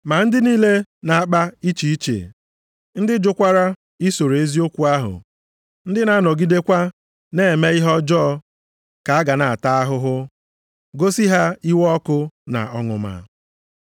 Ma ndị niile na-akpa iche iche, ndị jụkwara isoro eziokwu ahụ, ndị na-anọgidekwa na-eme ihe ọjọọ, ka a ga-ata ahụhụ, gosi ha iwe ọkụ na ọnụma.